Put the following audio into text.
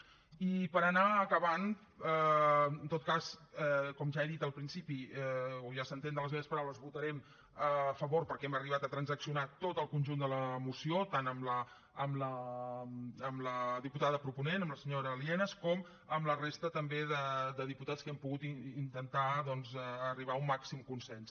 i per anar acabant en tot cas com ja he dit al principi o ja s’entén de les meves paraules hi votarem a favor perquè hem arribat a transaccionar tot el conjunt de la moció tant amb la diputada proponent amb la senyora lienas com amb la resta també de diputats que hem pogut intentar doncs arribar a un màxim consens